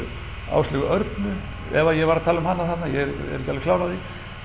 Áslaugu Örnu ef að ég var að tala um hana þarna ég er ekki alveg klár á því